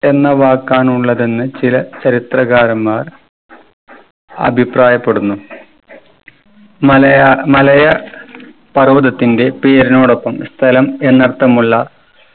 എന്ന വാക്കാണ് ഉള്ളതെന്ന് ചില ചരിത്രകാരന്മാർ അഭിപ്രായപ്പെടുന്നു. മലയാ മലയ പർവ്വതത്തിന്റെ പേരിനോടൊപ്പം സ്ഥലം എന്നർത്ഥമുള്ള